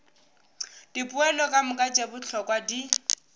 dipoelo kamoka tše bohlokwa di